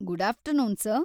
Good afternoon, sir!